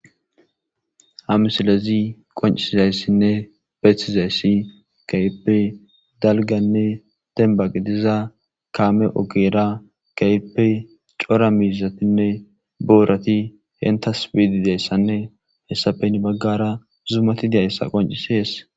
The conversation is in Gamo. Ha misilezi qoncisizayssinne besizaysi keehippe dalganne denba gidida kaame ogera keehippe cora miizatinne boorati enttas biidi diyayssanne hessape heni bagaara zumati diyayssa qoncises.